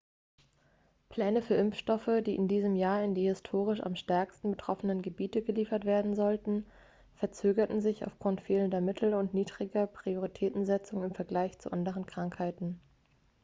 pläne für impfstoffe die in diesem jahr in die historisch am stärksten betroffenen gebiete geliefert werden sollten verzögerten sich aufgrund fehlender mittel und niedriger prioritätensetzung im vergleich zu anderen krankheiten